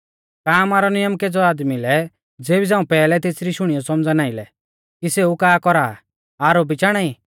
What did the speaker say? का आमारौ नियम केज़ै आदमी लै ज़ेबी झ़ांऊ पैहलै तेसरी शुणियौ सौमझ़ा नाईं लै कि सेऊ का कौरा आ आरोपी चाणा ई